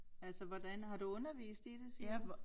Altså hvordan har du undervist i det siger du